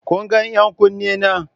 Kun ga 'yan kunne na?